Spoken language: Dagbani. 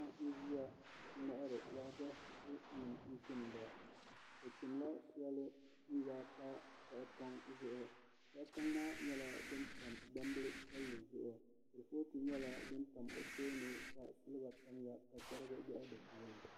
Paɣa n ʒiya n ŋmahari waagashe nim n chimda o chimla shɛli n yaai pa tahapoŋ zuɣu tahapoʋ maa nyɛla din tam gbambili piɛlli zuɣu kurifooti nyɛla din tam o tooni ka silba tamya ka chɛrigi loɣa di puuni